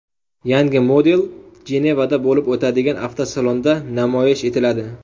Yangi model Jenevada bo‘lib o‘tadigan avtosalonda namoyish etiladi.